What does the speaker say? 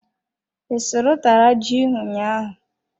I sụrụ utara ji ụnyaahụ?